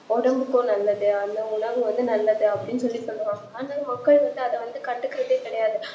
ஒடம்புக்கும் நல்லது அந்த உணவு நல்லது அப்டி சொல்லி சொல்லுவாங்க ஆனா மக்கள் வந்து அதகண்டுக்குரதே கிடையாது